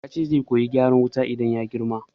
Yace zai koyi gyaran wuta idan ya girma